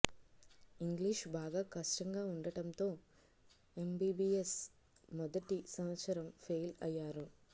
English బాగా కష్టంగా ఉండటంతో ఎంబిబిఎస్ మొదటి సంవత్సరం ఫెయిల్ అయ్యారు